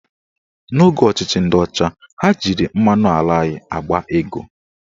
N'oge ọchịchị ndị ọcha, ha jiri mmanụ ala anyị akpa ego